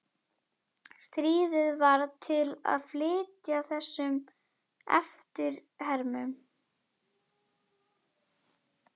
Stríðið varð til að flýta fyrir þessum eftirhermum.